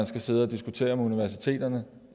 skal sidde og diskutere universiteterne